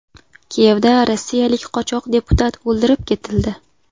Kiyevda rossiyalik qochoq deputat o‘ldirib ketildi.